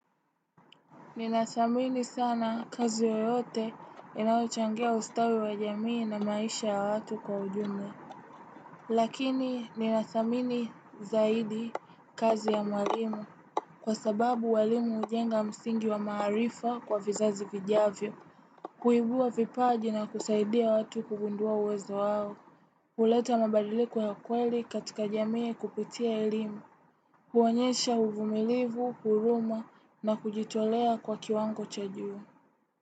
Ninadhamini sana kazi yoyote inayochangia ustawi wa jamii na maisha ya watu kwa ujumla. Lakini ninadhamini zaidi kazi ya mwalimu. Kwa sababu walimu ujenga msingi wa maaharifa kwa vizazi vijavyo. Kuibua vipaji na kusaidia watu kugundua uwezo wao. Uleta mabadiliko ya kweli katika jamii kupitia elimu. Kuonyesha uvumilivu, huruma na kujitolea kwa kiwango cha juu.